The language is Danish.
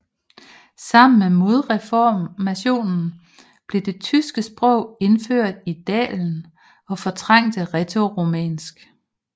Sammen med modreformationen blev det tyske sprog indført i dalen og fortrængte rætoromansk